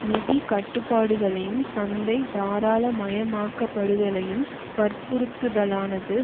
நிதி கட்டுப்பாடுகளையும் சந்தை தாராளமயமாக்கப்படுதலையும் வற்புறுத்துதலானது